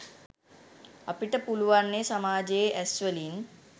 අපිට පුළුවන්නේ සමාජයේ ඇස්‌වලින්